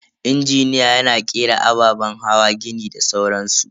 Injiniya yana kera ababen hawa, gini da sauran su.